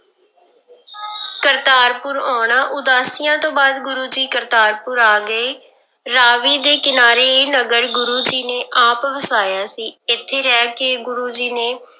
ਕਰਤਾਰਪੁਰ ਆਉਣਾ, ਉਦਾਸੀਆਂ ਤੋਂ ਬਾਅਦ ਗੁਰੂ ਜੀ ਕਰਤਾਰਪੁਰ ਆ ਗਏ, ਰਾਵੀ ਦੇ ਕਿਨਾਰੇ ਇਹ ਨਗਰ ਗੁਰੂ ਜੀ ਨੇ ਆਪ ਵਸਾਇਆ ਸੀ, ਇੱਥੇ ਰਹਿ ਕੇ ਗੁਰੂ ਜੀ ਨੇ